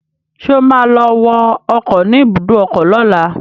Ṣé o ma lọ wọ ọkọ̀ ni ibùdó ọkọ lọ́la?